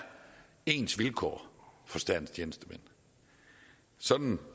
ens vilkår for statens tjenestemænd sådan